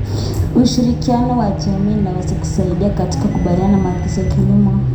Ushirikiano wa jamii unaweza kusaidia katika kukabiliana na matatizo ya kilimo.